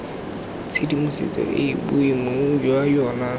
tshedimosetso eo boemong jwa yona